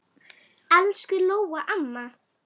Elsku Lóa amma.